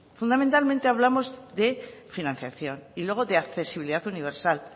fundamentalmente hablamos de financiación y luego de accesibilidad universal